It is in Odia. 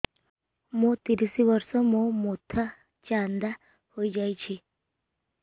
ମୋ ତିରିଶ ବର୍ଷ ମୋ ମୋଥା ଚାନ୍ଦା ହଇଯାଇଛି